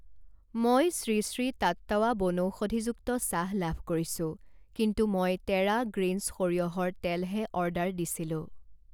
মই শ্ৰী শ্ৰী টাট্টাৱা বনৌষধিযুক্ত চাহ লাভ কৰিছোঁ, কিন্তু মই টেৰা গ্ৰীণছ সৰিয়হৰ তেল হে অৰ্ডাৰ দিছিলোঁ।